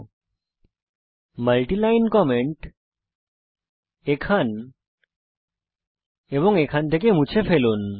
এখান এবং এখান থেকে মাল্টি লাইন কমেন্ট মুছে ফেলুন